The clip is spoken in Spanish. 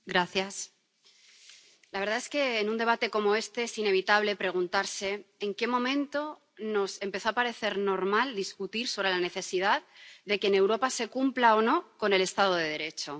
Señora presidenta, la verdad es que en un debate como este es inevitable preguntarse en qué momento nos empezó a parecer normal discutir sobre la necesidad de que en Europa se cumpla o no con el Estado de Derecho.